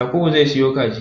Yakubu zai siyo kaji